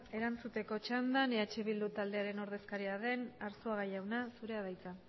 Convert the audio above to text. erantzuteko txandan eh bildu taldearen ordezkaria den arzuaga jauna zurea da hitza